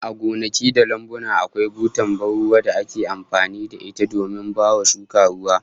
A gonaki da lambuna, akwai butar ban ruwa da ake amfani da ita domin baiwa shuka ruwa